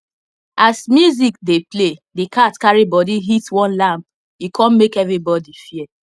as music dey play the cat carry body hit one lamp e come make everybody fear